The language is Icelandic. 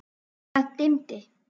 Það dimmdi.